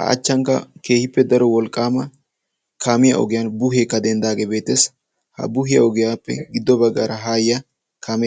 a achchankka keehippe daro wolqqaama kaamiya ogiyan buuheekka denddaagee beeteesi ha buuhiyaa ogiyaappe giddo baggaara haayya kaamee